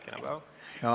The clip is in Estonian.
Kena päeva!